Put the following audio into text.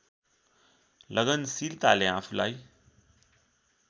लगनशीलताले आफूलाई